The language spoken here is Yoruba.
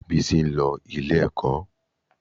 Bísí ń lọ ilé-ẹ̀kọ́